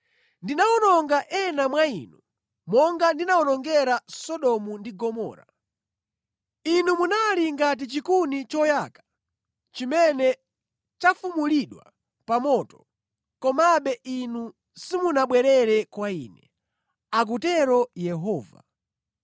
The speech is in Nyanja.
“Ndinawononga ena mwa inu monga ndinawonongera Sodomu ndi Gomora. Inu munali ngati chikuni choyaka chimene chafumulidwa pa moto. Komabe inu simunabwerere kwa Ine,” akutero Yehova.